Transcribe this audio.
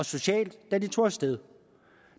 socialt da de tog sted